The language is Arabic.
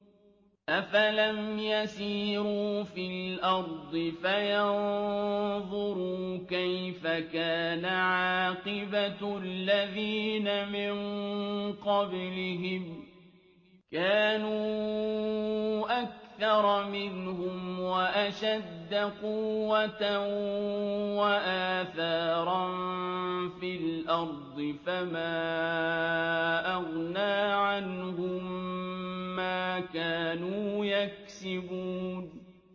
أَفَلَمْ يَسِيرُوا فِي الْأَرْضِ فَيَنظُرُوا كَيْفَ كَانَ عَاقِبَةُ الَّذِينَ مِن قَبْلِهِمْ ۚ كَانُوا أَكْثَرَ مِنْهُمْ وَأَشَدَّ قُوَّةً وَآثَارًا فِي الْأَرْضِ فَمَا أَغْنَىٰ عَنْهُم مَّا كَانُوا يَكْسِبُونَ